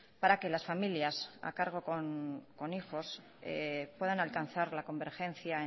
para que las familias a cargo con hijos puedan alcanzar la convergencia